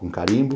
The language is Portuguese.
Com carimbo.